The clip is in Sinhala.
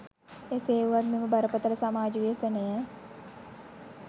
එසේ වුවත් මෙම බරපතළ සමාජ ව්‍යසනය